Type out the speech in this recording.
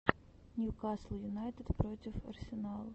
ньюкасл юнайтед против арсенал